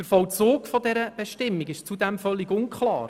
Zudem ist der Vollzug dieser Bestimmung völlig unklar.